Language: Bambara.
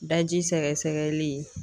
Daji sɛgɛsɛgɛli